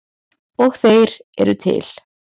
Og þeir eru til.